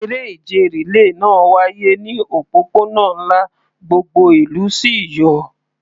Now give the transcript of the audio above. Eré ìje rìléè náà wáyé ní òpópónà ńlá, gbogbo ìlú sì yọ̀.